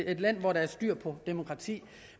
et land hvor der er styr på demokratiet